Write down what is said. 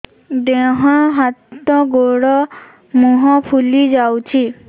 ଦେହ ହାତ ଗୋଡୋ ମୁହଁ ଫୁଲି ଯାଉଛି